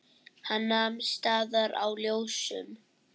Hann nam staðar á ljósum.